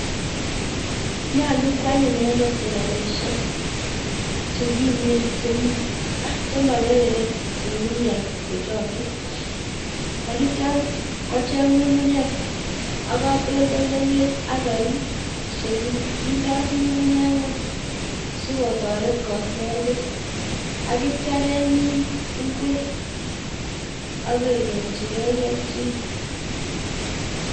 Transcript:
Nyolu kwal inendet seleleishek chekimen chem chemakerere ng'ung'unyek kochokchi. Agitio kocheng ng'ung'unyek ak katoltolewek ak koik chekindoi ng'ung'unyek ng'uny sikotoret koser beek. Agitio kemin ngwek age nyorchigei kelchin.